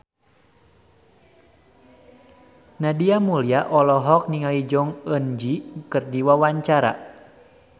Nadia Mulya olohok ningali Jong Eun Ji keur diwawancara